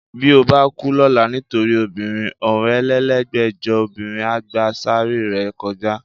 Bí o bá kú lọ́la nítorí obìnrin, ọ̀rinlélẹ́gbẹ́jọ obìnrin á gba sàáárè rẹ kọjá